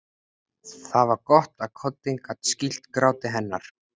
Það var gott að koddinn gat skýlt gráti hennar.